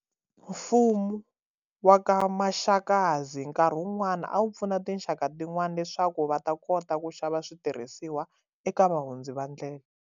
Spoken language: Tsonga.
Mfumu wa ka Maxakadzi nkarhi un'wani a wu pfuna tinxaka tin'wani leswaku va ta kota ku xava switirhisiwa eka vahundzi va ndlela.